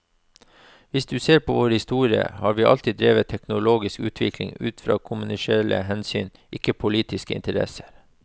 Hvis du ser på vår historie, har vi alltid drevet teknologisk utvikling ut fra kommersielle hensyn, ikke politiske interesser.